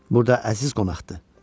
Burda əziz qonaqdır.